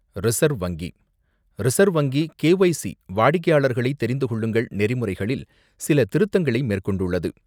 Reserve வங்கி: reserve வங்கி KYC வாடிக்கையாளர்களை தெரிந்துகொள்ளுங்கள் நெறிமுறைகளில் சில திருத்தங்களை மேற்கொண்டுள்ளது.